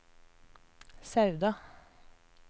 Sauda